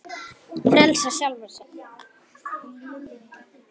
Frelsa sjálfa sig.